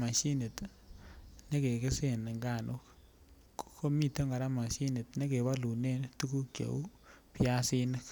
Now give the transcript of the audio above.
moshinit nekegesen nganuk, komiten kora moshinit nekebolunen tuguk cheu biasinik.